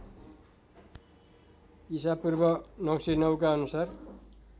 ईपू ९०९ का अनुसार